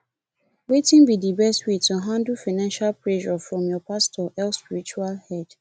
wetin be di best way to handle financial pressure from your pastor or spiritual head